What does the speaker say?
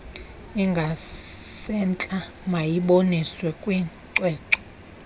ingasentla mayiboniswe kwicwecwe